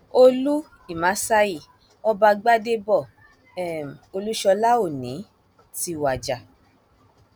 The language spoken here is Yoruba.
olú ìmásáyí ọba gbadèbọ um olúṣọlá òní ti wájà